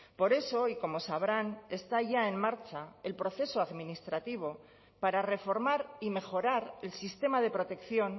por eso y como sabrán está ya en marcha el proceso administrativo para reformar y mejorar el sistema de protección